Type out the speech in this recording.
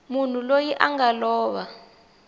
munhu loyi a nga lova